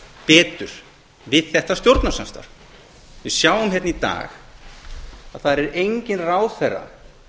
betur við þetta stjórnarsamstarfið við sjáum hérna í dag að það er enginn ráðherra